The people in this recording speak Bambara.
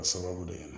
A sababu de kɛra